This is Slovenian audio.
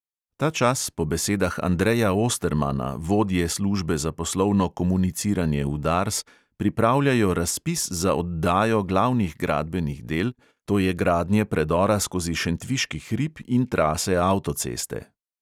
Ta čas po besedah andreja ostermana, vodje službe za poslovno komuniciranje v dars, pripravljajo razpis za oddajo glavnih gradbenih del, to je gradnje predora skozi šentviški hrib in trase avtoceste.